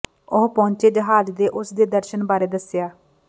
ਉਹ ਪਹੁੰਚੇ ਜਹਾਜ਼ ਦੇ ਉਸ ਦੇ ਦਰਸ਼ਣ ਬਾਰੇ ਦੱਸਿਆ